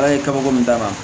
Ala ye kabako min d'a ma